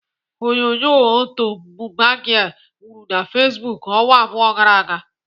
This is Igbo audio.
Onyonyo ọtọ 'Buba girl' wuru na Facebook ọnwa abụọ gara aga.